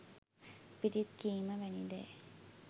පිරිත් කීම වැනි දෑ